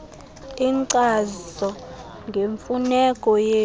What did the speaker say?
inkcazo ngemfuneko yesi